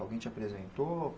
Alguém te apresentou?